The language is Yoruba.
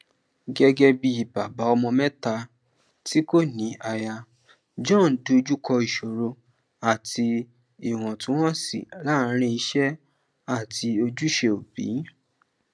gẹgẹ bí bàbá ọmọ mẹta tí kò ní aya john dojú kọ ìṣòro àti íwọntunwọnsí làárin iṣẹ àti ojúṣe òbí